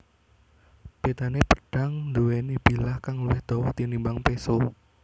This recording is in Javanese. Bédané pedhang nduwèni bilah kang luwih dawa tinimbang péso